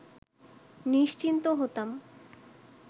নিশ্চিন্ত হতাম